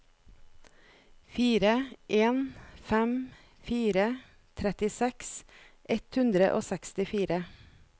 fire en fem fire trettiseks ett hundre og sekstifire